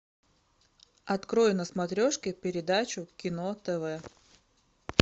открой на смотрешке передачу кино тв